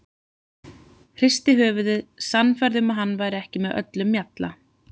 Hristi höfuðið, sannfærð um að hann væri ekki með öllum mjalla.